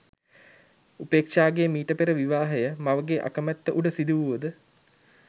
උපේක්ෂාගේ මීට පෙර විවාහය මවගේ අකමැත්ත උඩ සිදුවුවද